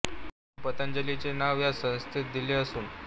गुरू पतंजली चे नाव या संस्थेस दिले असुन